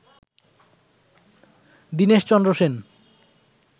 Dineshchandra Sen